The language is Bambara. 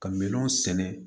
Ka minɛn sɛnɛ